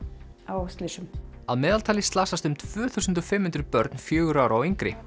á slysum að meðaltali slasast um tvö þúsund og fimm hundruð börn fjögurra ára og yngri